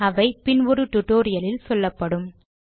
அவை பின் ஒரு டுடோரியலில் சொல்லப்படும்